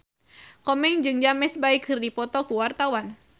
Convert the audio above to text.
Komeng jeung James Bay keur dipoto ku wartawan